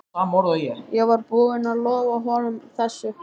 Ég var búinn að lofa honum þessu.